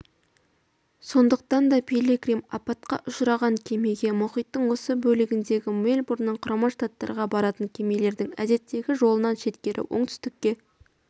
сондықтан да пилигрим апатқа ұшыраған кемеге мұхиттың осы бөлегінде мельбурннан құрама штаттарға баратын кемелердің әдеттегі жолынан шеткері оңтүстікке